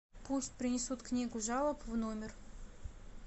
пусть принесут книгу жалоб в номер